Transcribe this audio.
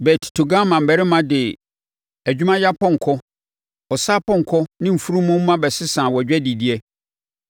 “ ‘Bet Togarma mmarima de adwumayɛ apɔnkɔ, ɔsa apɔnkɔ ne mfunumu mma bɛsesaa wʼadwadideɛ.